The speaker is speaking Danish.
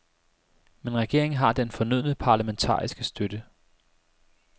Men regeringen har den fornødne parlamentariske støtte.